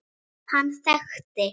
Hann þekkti